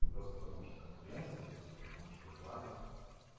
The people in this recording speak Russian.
просто потому что конкуренция просто потому что блага